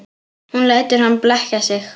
Hún lætur hann blekkja sig.